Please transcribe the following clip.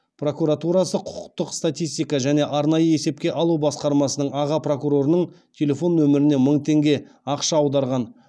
прокуратурасы құқықтық статистика және арнайы есепке алу басқармасының аға прокурорының телефон нөміріне мың теңге ақша аударған